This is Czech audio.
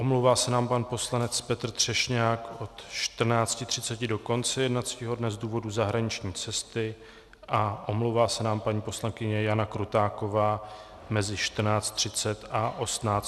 Omlouvá se nám pan poslanec Petr Třešňák od 14.30 do konce jednacího dne z důvodu zahraniční cesty a omlouvá se nám paní poslankyně Jana Krutáková mezi 14.30 a 18.45 z důvodu jednání.